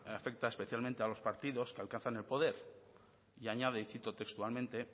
afecta especialmente a los partidos que alcanzan el poder y añade y cito textualmente